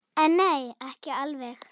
En nei, ekki alveg.